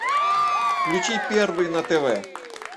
включи первый на тв